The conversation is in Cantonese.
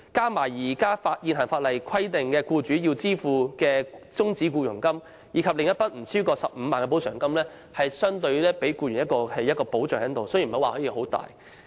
這筆款項加上現行法例規定僱主支付的終止僱傭金，以及一筆不超過 150,000 元的補償金，雖然並非很大的補償，但也算是對僱員的一種保障。